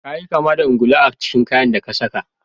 Ka yi kama da ungulu a cikin kayan da ka sa.